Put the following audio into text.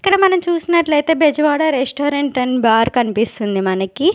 ఇక్కడ మనం చూసినట్లు అయితే బెజవాడ రెస్టారెంట్ ఆండ్ బార్ కనిపిస్తుంది మనకి.